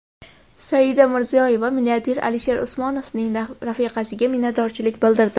Saida Mirziyoyeva milliarder Alisher Usmonovning rafiqasiga minnatdorlik bildirdi.